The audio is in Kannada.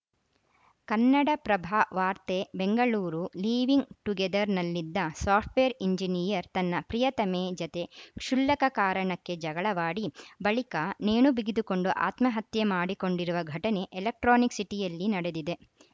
ಕನ್ನಡಪ್ರಭ ವಾರ್ತೆ ಬೆಂಗಳೂರು ಲಿವೀಂಗ್‌ ಟುಗೇದರ್‌ನಲ್ಲಿದ್ದ ಸಾಫ್ಟ್‌ವೇರ್‌ ಎಂಜಿನಿಯರ್‌ ತನ್ನ ಪ್ರಿಯತಮೆ ಜತೆ ಕ್ಷುಲ್ಲಕ ಕಾರಣಕ್ಕೆ ಜಗಳವಾಡಿ ಬಳಿಕ ನೇಣು ಬಿಗಿದುಕೊಂಡು ಆತ್ಮಹತ್ಯೆ ಮಾಡಿಕೊಂಡಿರುವ ಘಟನೆ ಎಲೆಕ್ಟ್ರಾನಿಕ್‌ ಸಿಟಿಯಲ್ಲಿ ನಡೆದಿದೆ